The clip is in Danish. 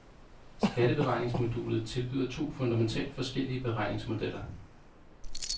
Skatteberegningsmodulet tilbyder to fundamentalt forskellige beregningsmodeller.